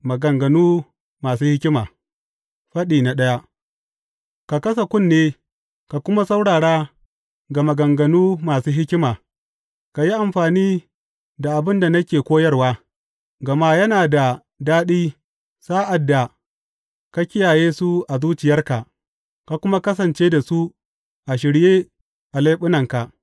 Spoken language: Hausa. Maganganu Masu Hikima Faɗi daya Ka kasa kunne ka kuma saurara ga maganganu masu hikima; ka yi amfani da abin da nake koyarwa, gama yana da daɗi sa’ad da ka kiyaye su a zuciyarka ka kuma kasance da su a shirye a leɓunanka.